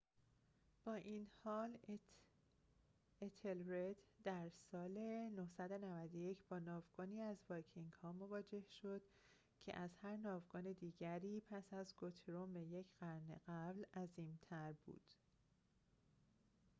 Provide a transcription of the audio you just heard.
با این حال اتِلرِد در سال ۹۹۱ با ناوگانی از وایکینگ‌ها مواجه شد که از هر ناوگان دیگری پس از گوترومِ یک قرن قبل عظیم‌تر بود